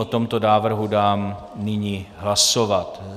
O tomto návrhu dám nyní hlasovat.